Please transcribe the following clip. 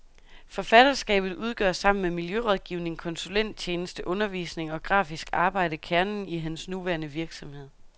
Forfatterskabet udgør sammen med miljørådgivning, konsulenttjeneste, undervisning og grafisk arbejde kernen i hans nuværende virksomhed.